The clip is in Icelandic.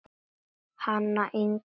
Hana Ingu mína.